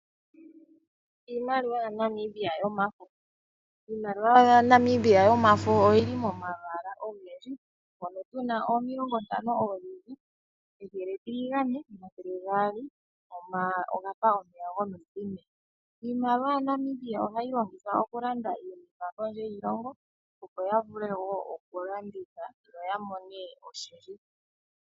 Iimaliwa ya Namibia yomafo. Iimaliwa ya Namibia yomafo oyi li momalwaala ogendji. Mono tuna omilongo ntano oozizi, ethele etiligane, omathele gaali ogafa omeya gomiviinu. Iimaliwa ya Namibia ohayi longithwa oku landa iinima kondje yiilongo, opo ya vule wo oku landitha, yo ya mone oshindji.